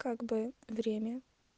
как бы время